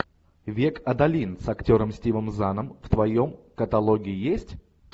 век адалин с актером стивом заном в твоем каталоге есть